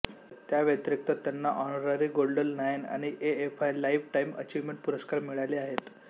त्या व्यातीरीक्त त्यांना ऑनररी गोल्डन लायन आणि एएफआय लाईफ टाईम अचीव्मेंट पुरस्कार मिळाले आहेत